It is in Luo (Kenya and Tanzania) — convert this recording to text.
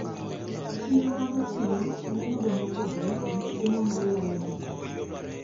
Chiro magotieno nenoga mopogre, gi chiemo maywayo ji mang`eny.